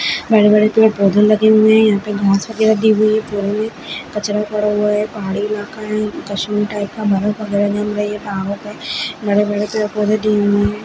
बड़े बड़े पेड़ पौधे लगे हुए हैं यहाँ पे घास वग़ैरा दी हुई है में कचड़ा पड़ा हुआ है पहाड़ी इलाका है कश्मीर टाइप का बड़े बड़े पेड़ पौधे दिए हुए हैं।